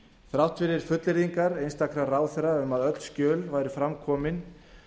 þrátt fyrir fullyrðingar einstakra ráðherra um að öll skjöl væru fram komin